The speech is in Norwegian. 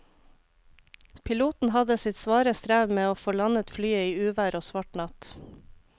Piloten hadde sitt svare strev med å få landet flyet i uvær og svart natt.